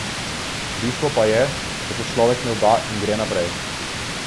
Bistvo pa je, da se človek ne vda in gre naprej.